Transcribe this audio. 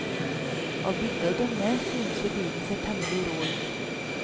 Av bildet å dømme, synes vi bilen ser temmelig rå ut.